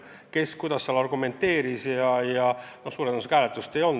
Kes kuidas valitsuses argumenteeris – suure tõenäosusega hääletust ei olnud.